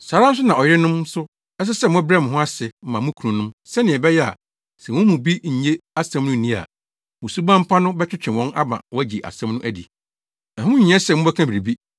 Saa ara nso na ɔyerenom nso ɛsɛ sɛ mobrɛ mo ho ase ma mo kununom sɛnea ɛbɛyɛ a sɛ wɔn mu bi nnye asɛm no nni a, mo suban pa no bɛtwetwe wɔn ama wɔagye asɛm no adi. Ɛho nhia sɛ mobɛka biribi,